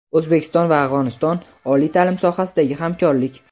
O‘zbekiston va Afg‘oniston: oliy taʼlim sohasidagi hamkorlik.